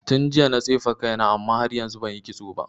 Tun jiya na tsefe kaina amma har yanzu banyi kitso ba.